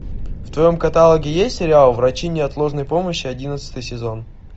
в твоем каталоге есть сериал врачи неотложной помощи одиннадцатый сезон